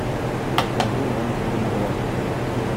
покажи монстры на острове